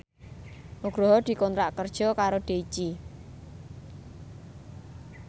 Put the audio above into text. Nugroho dikontrak kerja karo Daichi